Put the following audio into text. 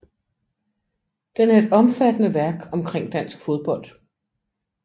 Den er et omfattende værk omkring dansk fodbold